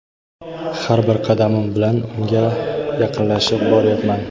Har bir qadamim bilan unga yaqinlashib boryapman.